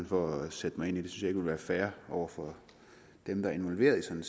for at sætte mig ind i ville være fair over for dem der er involveret i sådan